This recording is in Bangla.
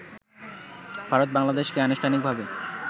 ভারত-বাংলাদেশকে আনুষ্ঠানিকভাবে